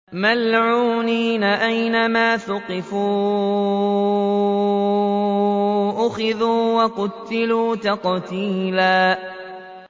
مَّلْعُونِينَ ۖ أَيْنَمَا ثُقِفُوا أُخِذُوا وَقُتِّلُوا تَقْتِيلًا